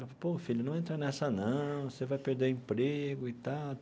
Pô, filho, não entra nessa não, você vai perder emprego e tal.